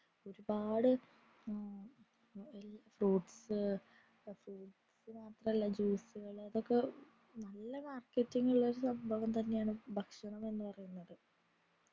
ഒരുപാട് fruits fruits മാത്രമല്ല juice കൾ അതൊക്കെ നല്ല marketing വരുന്ന സംഭവങ്ങൾ ആണ് ഭക്ഷണം എന്ന് പറയുന്നത്